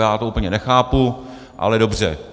Já to úplně nechápu, ale dobře.